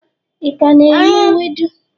i ka na-eri ewedu?